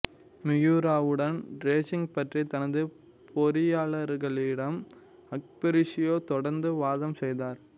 மியுராவுடன் racing பற்றி தனது பொறியாளர்களிடம் ஃபெருஷியோ தொடர்ந்து வாதம் செய்தார்